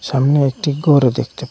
সামনে একটি গরও দেকতে পাই।